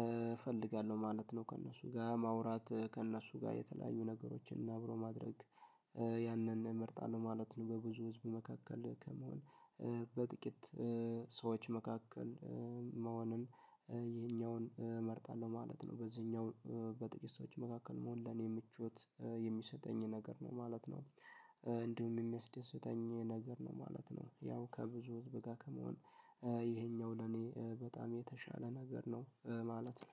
እፈልጋለሁ ማለት ነው። ከእነሱ ጋር ማውራት ከእነሱ ጋር የተለያዩ ነገሮችን አብሮ ማድረግ ያንን እመርጣለሁ ማለት ነው። በብዙ ህዝብ መካከል ከመሆን በጥቂት ሰዎች መካከል መሆንን የኛውን እመርጣለሁ ማለት ነው። በዚህኛው በጥቂት ሰዎች መካከል መሆን ለኔ ምቾት የሚሰጠኝ ነገር ነው ማለት ነው። እንዲሁም የሚያስደስተኝ ነገር ነው ማለት ነው። ያው ከብዙ ህዝብጋ ከመሆን ይሄኛው ለኔ በጣም የተሻለ ነገር ነው ማለት ነው